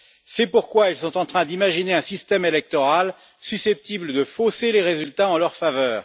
C'est pourquoi ils sont en train d'imaginer un système électoral susceptible de fausser les résultats en leur faveur.